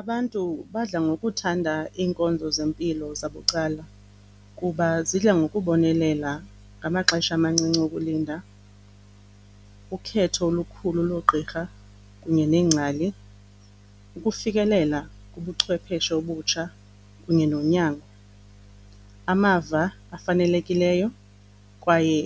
Abantu badla ngokuthanda iinkonzo zempilo zabucala kuba zidla ngokubonelela ngamaxesha amancinci okulinda, ukhetho olukhulu loogqirha kunye neengcali, ukufikelela kubuchwepheshe obutsha kunye nonyango, amava afanelekiyo. Kwaye